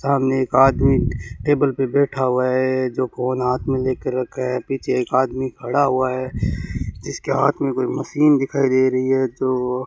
सामने एक आदमी टेबल पे बैठा हुआ है जो फोन हाथ में लेकर रखा है पीछे एक आदमी खड़ा हुआ है इसके हाथ में कोई मशीन दिखाई दे रही है जो --